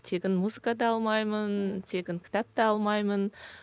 тегін музыка да алмаймын тегін кітап та алмаймын